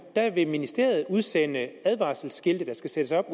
der vil ministeriet udsende advarselsskilte der skal sættes op